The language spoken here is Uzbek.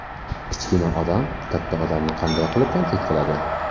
Kichkina odam katta odamni qanday qilib tanqid qiladi?